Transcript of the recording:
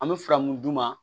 An bɛ fila mun d'u ma